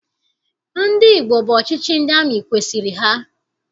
Ndị Igbo bụ ọchịchị ndị amị kwesiri ha.